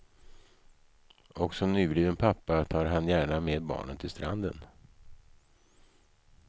Och som nybliven pappa tar han gärna med barnen till stranden.